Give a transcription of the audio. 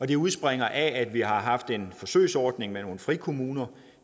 det udspringer af at vi har haft en forsøgsordning med nogle frikommuner